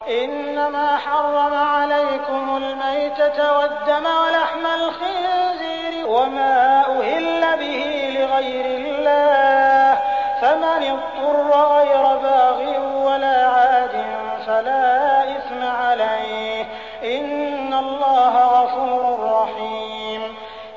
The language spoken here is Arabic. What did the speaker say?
إِنَّمَا حَرَّمَ عَلَيْكُمُ الْمَيْتَةَ وَالدَّمَ وَلَحْمَ الْخِنزِيرِ وَمَا أُهِلَّ بِهِ لِغَيْرِ اللَّهِ ۖ فَمَنِ اضْطُرَّ غَيْرَ بَاغٍ وَلَا عَادٍ فَلَا إِثْمَ عَلَيْهِ ۚ إِنَّ اللَّهَ غَفُورٌ رَّحِيمٌ